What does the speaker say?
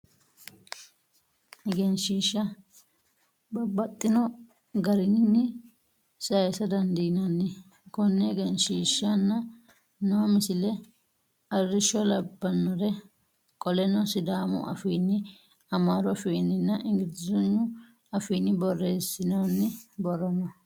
Egensiishsha babbaxino garii sayiisa dandiinanni. Konne egensiishshi aanasi noo misile arrishsho labbanore. Qoleno sidaamu afiinni, amaaru afiinninna ingilizhagnu afiinni borreessinoyi borro no.